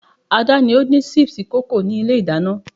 ada ni ondin sipsi